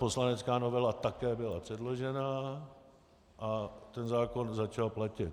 Poslanecká novela také byla předložena a ten zákon začal platit.